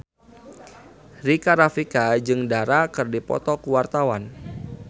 Rika Rafika jeung Dara keur dipoto ku wartawan